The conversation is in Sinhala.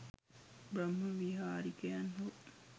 බ්‍රහ්ම විහාරිකයන් හෝ